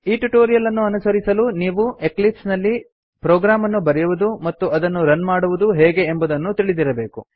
ಈ ಟ್ಯುಟೋರಿಯಲ್ ಅನ್ನು ಅನುಸರಿಸಲು ನೀವು ಎಕ್ಲಿಪ್ಸ್ ನಲ್ಲಿ ಪ್ರೊಗ್ರಾಮ್ ಅನ್ನು ಬರೆಯುವುದು ಮತ್ತು ಅದನ್ನು ರನ್ ಮಾಡುವುದು ಹೇಗೆ ಎಂಬುದನ್ನು ತಿಳಿದಿರಬೇಕು